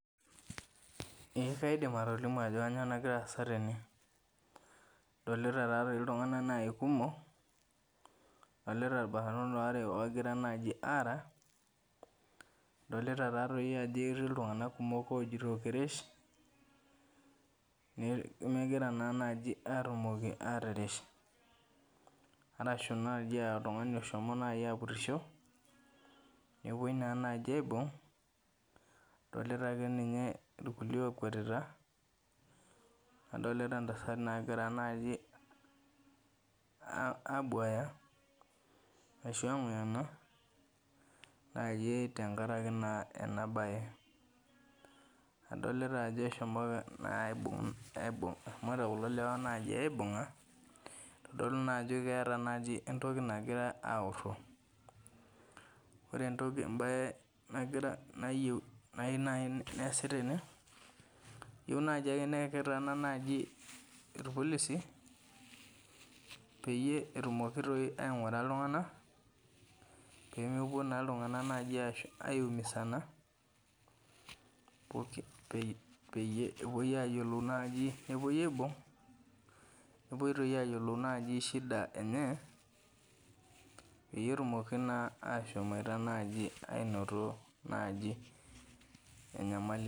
Eeh kaidim atolimu ajo kanyoo nagiraasa tene. Adolita taatoi iltung'ana nai kumok, adolita ilbarnot oare ogira naji aara, adolita taatoi ajo etii iltung'ana kumok ojito kirish, nemegira naa naji atumoki atirish. Arashu naji aaoltungani oshomo naji apurrisho nepuoi naa naji aibung', adolita akeninye ilkulie okwetita, adolita intasati naagira naji ah aabuaya ashu ang'uyana naakee tengarake naa enabaye. Adolita ajo eshomo naa aibung' aibung' eshomoita kulo lewa naji aibung'a eitodolu naajo keata naji entoki nagira aorro. Ore entoki embaye nagira nayeu nai neasi tene, eyou naji ake neaku etaana naji irpolisi peyie etumoki toi aing'ura iltung'ana peemepuo naa iltung'ana naji aiumisana poki peyie ewuoi ayiolou naji nepuoi aibung', nepuoi toi ayiolou naji shida eh enye peyie etumoki naa ashomoita naji ainoto naji enyamali.